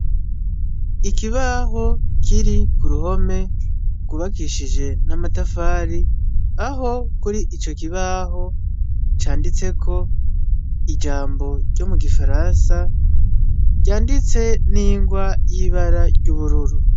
Ikibaho kiri ku ruhome rwubakishije n'amatafari aho kuri ico kibaho canditseko ijambo ryo mu gifaransa ryanditse n'ingwa y'ibara ry'ubururu.